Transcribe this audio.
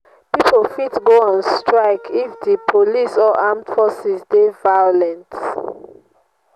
pipo fit go on strike if the police or armed forces de violent